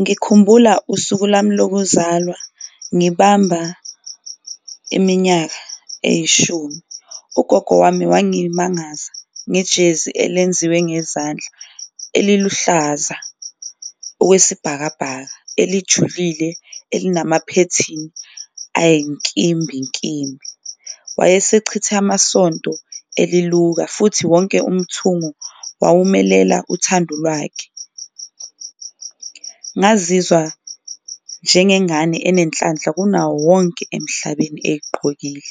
Ngikhumbula usuku lami lokuzalwa ngibamba iminyaka eyishumi, ugogo wami wangimangaza ngejezi elenziwe ngezandla eliluhlaza okwesibhakabhaka eselijulile, elinamaphethini ayinkimbinkimbi. Wayesechithe amasonto eliluka futhi wonke umthungo wawumelela uthando lwakhe, ngazizwa njengengane enenhlanhla kunawo wonke emhlabeni eyigqokile.